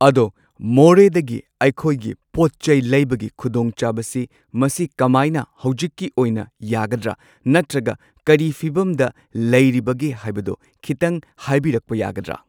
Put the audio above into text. ꯑꯗꯣ ꯃꯣꯔꯦꯗꯒꯤ ꯑꯩꯈꯣꯏꯒꯤ ꯄꯣꯠꯆꯩ ꯂꯩꯕꯒꯤ ꯈꯨꯗꯣꯡꯆꯥꯕꯁꯤ ꯃꯁꯤ ꯀꯃꯥꯏꯅ ꯍꯧꯖꯤꯛꯀꯤ ꯑꯣꯏꯅ ꯌꯥꯒꯗ꯭ꯔꯥ ꯅꯠꯇ꯭ꯔꯒ ꯀꯔꯤ ꯐꯤꯚꯝꯗ ꯂꯩꯔꯤꯕꯒꯦ ꯍꯥꯏꯕꯗꯣ ꯈꯤꯇꯪ ꯍꯥꯏꯕꯤꯔꯛꯄ ꯌꯥꯒꯗ꯭ꯔꯥ